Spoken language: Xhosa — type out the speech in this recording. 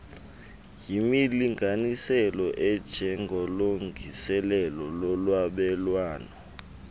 yimilinganiselo enjengolungiselelo lolwabelwano